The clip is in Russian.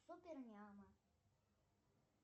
супер няма